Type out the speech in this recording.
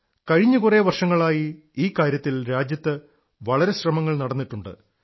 കഴിഞ്ഞ കുറെ വർഷങ്ങളായി ഈ കാര്യത്തിൽ രാജ്യത്ത് വളരെ പരിശ്രമം നടക്കുന്നിട്ടുണ്ട്